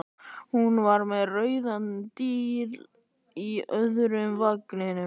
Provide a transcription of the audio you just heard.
Hún var með rauðan díl í öðrum vanganum.